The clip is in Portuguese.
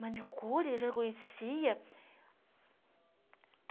Manicure, já conhecia.